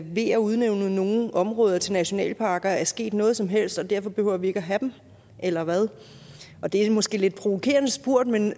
ved at udnævne nogle områder til nationalparker er sket noget som helst og derfor behøver vi ikke at have dem eller hvad det er måske lidt provokerende spurgt men